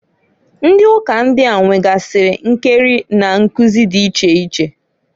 Ndị uka ndịa nwegasịrị nkeri na nkụzị dị iche iche.